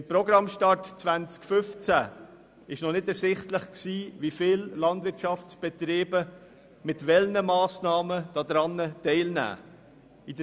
Beim Programmstart im Jahr 2015 war noch nicht ersichtlich, wie viele Landwirtschaftsbetriebe mit welchen Massnahmen daran teilnehmen werden.